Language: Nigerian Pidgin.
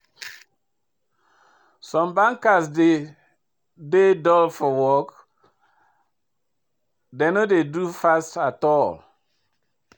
Some banker dey dey dull for work, dem no dey do fast at all.